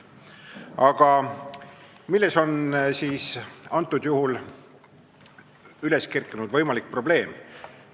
Aga milles on siis võimalik probleem?